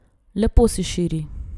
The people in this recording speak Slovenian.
Lepo se širi.